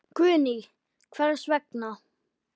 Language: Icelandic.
Guðný: Hvers vegna?